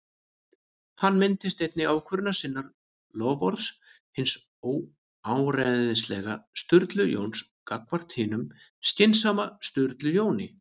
Hann minnist einnig ákvörðunar sinnar- loforðs hins óáreiðanlega Sturlu Jóns gagnvart hinum skynsama Sturlu Jóni